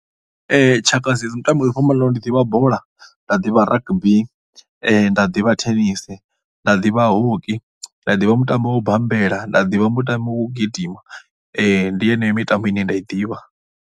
Tshaka dza mitambo yo fhambanaho ndi ḓivha bola, nda ḓivha rugby, nda ḓivha thenisi, nda ḓivha hockey, nda ḓivha mutambo wa u bambela, nda ḓivha mutambo wa u gidima. Ndi yeneyo mitambo ine nda i ḓivha.